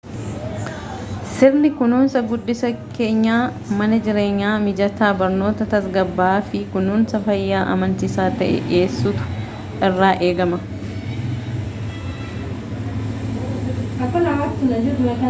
sirni kunuunsa guddisa keenyaa mana jireenyaa mijataa barnoota tasgabbaa'aa fi kunuunsa fayyaa amansiisaa ta'e dhiyeessuutu irraa eegama